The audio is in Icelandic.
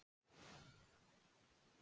Þar með er OK!